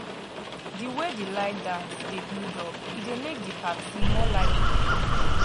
di way di line dance dey build up e dey make di party more lively